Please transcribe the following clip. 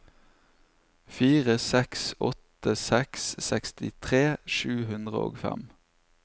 fire seks åtte seks sekstitre sju hundre og fem